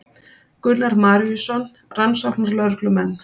Gunnar Maríuson rannsóknarlögreglumenn.